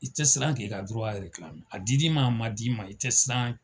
I te siran k'i ka dura erekilame i dir'i ma a mad'i ma i te siran